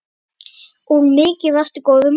Og mikið varstu góður maður.